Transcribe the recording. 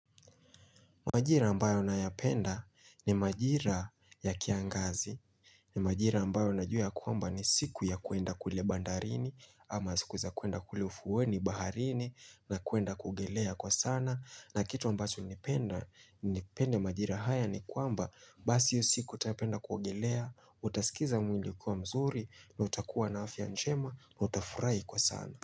Majira ambayo na yapenda ni majira ya kiangazi. Ni majira ambayo na jua ya kwamba ni siku ya kuenda kule bandarini ama siku za kuenda kule ufuweni baharini na kuenda kuogelea kwa sana. Na kitu ambacho nimependa nimepende majira haya ni kwamba basi hiyo siku utapenda kuogelea, utasikiza mwili kuwa mzuri na utakuwa na afya njema na utafurahi kwa sana.